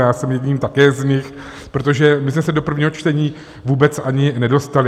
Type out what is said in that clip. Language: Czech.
Já jsem jedním také z nich, protože my jsme se do prvního čtení vůbec ani nedostali.